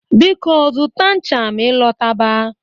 Biko, zụta ṅcha ma ị lọta ba